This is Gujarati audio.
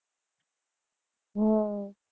હમ